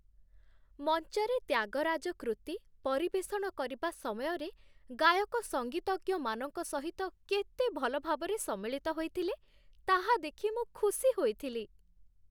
ମଞ୍ଚରେ 'ତ୍ୟାଗରାଜ କୃତି' ପରିବେଷଣ କରିବା ସମୟରେ ଗାୟକ ସଙ୍ଗୀତଜ୍ଞମାନଙ୍କ ସହିତ କେତେ ଭଲ ଭାବରେ ସମ୍ମିଳିତ ହୋଇଥିଲେ, ତାହା ଦେଖି ମୁଁ ଖୁସି ହୋଇଥିଲି